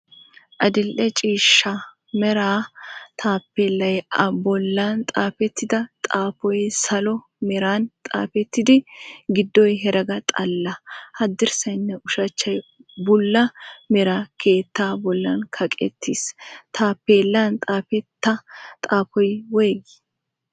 Adil"e ciishsha mera Taappeellay, a bollan xaafettida xaafoy salo meran xaafettidi, giddoy herega xalla, haddirssaynne ushshachchay bulla mera keetta bollan kaqqettiis. Taappeellan xaafetta xaafoy woygii?